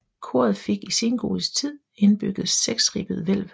Koret fik i sengotisk tid indbygget seksribbet hvælv